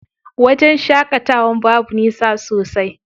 Wajen shaƙatawan babu nisa sosai.